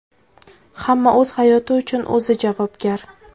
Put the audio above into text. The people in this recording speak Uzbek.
Hamma o‘z hayoti uchun o‘zi javobgar.